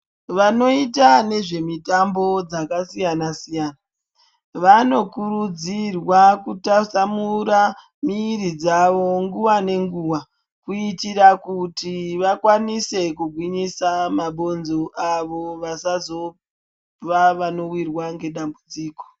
Vanoita nezvemutambo dzakasiyana siyana vanokurudzirwa kutasamura miiri dzavo nguva ngenguva kuitira kuti vakwanise kugwinyisa mabhonzo avo vasazova vanowirwa nedambudziko.